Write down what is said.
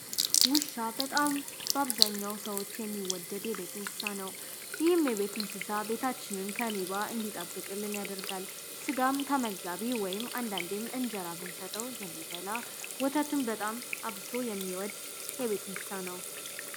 ውሻ በጣም በአብዛኛው ሰዎች የሚወድድ የቤት እንስሳት ነው። ይህም የቤት እንስሳ ቤታችንን ከሌባ እንዲጠብቅ ያደርጋል። ስጋ ተመጋጋቢ አንዳንዴ እንጀራም ብንሰጠው የሚበላ፣ ወተትም አብዝቶ የሚወድ የቤት እንስሳ ነው።